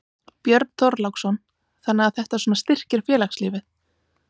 Björn Þorláksson: Þannig að þetta svona styrkir félagslífið?